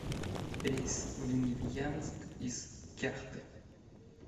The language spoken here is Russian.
рейс в невьянск из кяхты